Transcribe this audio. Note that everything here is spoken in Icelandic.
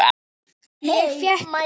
Ég fékk far með olíuskipinu